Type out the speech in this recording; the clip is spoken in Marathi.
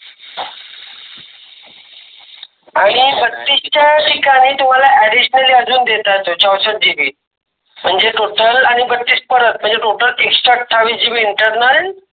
आणि बतीसच च्या ठिकाणी तुम्हाला Additionally अजून देत आहे तो चौंसष्ट internal